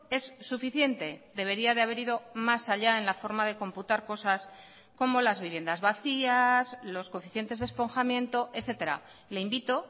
es suficiente debería de haber ido más allá en la forma de computar cosas como las viviendas vacías los coeficientes de esponjamiento etcétera le invito